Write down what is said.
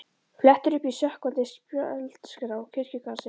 Flettir upp í sökkvandi spjaldskrá kirkjugarðsins